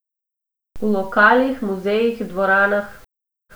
V lokalih, muzejih, dvoranah...